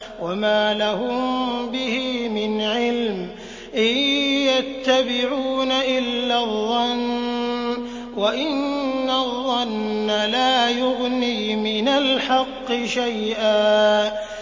وَمَا لَهُم بِهِ مِنْ عِلْمٍ ۖ إِن يَتَّبِعُونَ إِلَّا الظَّنَّ ۖ وَإِنَّ الظَّنَّ لَا يُغْنِي مِنَ الْحَقِّ شَيْئًا